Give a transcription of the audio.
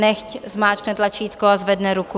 Nechť zmáčkne tlačítko a zvedne ruku.